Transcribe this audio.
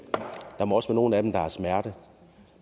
der må også være nogle af dem der har smerter